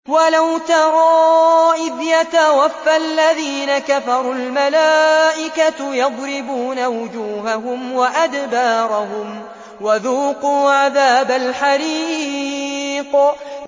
وَلَوْ تَرَىٰ إِذْ يَتَوَفَّى الَّذِينَ كَفَرُوا ۙ الْمَلَائِكَةُ يَضْرِبُونَ وُجُوهَهُمْ وَأَدْبَارَهُمْ وَذُوقُوا عَذَابَ الْحَرِيقِ